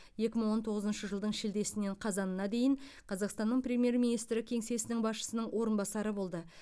екі мың он тоғызыншы жылдың шілдесінен қазанына дейін қазақстанның премьер министрі кеңсесінің басшысының орынбасары болды